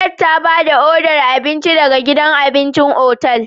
Kate ta ba da odar abinci daga gidan abincin otal.